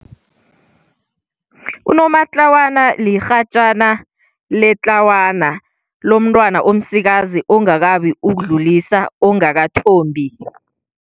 Unomatlawana lirhatjana letlawana, lomntwana omsikazi ongakabi ukudlulisa, ongakathombi.